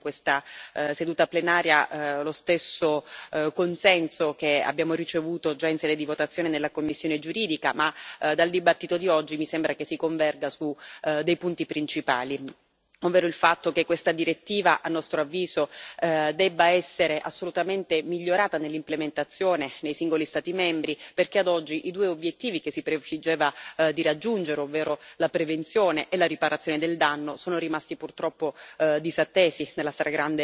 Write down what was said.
Io mi auguro di trovare in questa seduta plenaria lo stesso consenso che abbiamo ricevuto già in sede di votazione nella commissione giuridica ma, dalla discussione di oggi, mi sembra che si converga su dei punti principali, ovvero il fatto che questa direttiva, a nostro avviso, debba essere assolutamente migliorata nell'implementazione nei singoli Stati membri perché, ad oggi, i due obiettivi che si prefiggeva di raggiungere, ovvero la prevenzione e la riparazione del danno, sono rimasti purtroppo